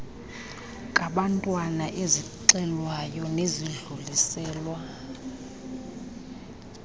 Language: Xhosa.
kabantwana ezixelwayo nezidluliselwa